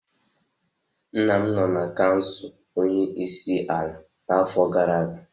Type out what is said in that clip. Nna m nọ na kansụl onye isi ala n'afọ gara aga.